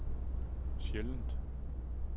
sjældent